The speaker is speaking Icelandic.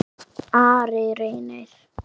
Ari Reynir.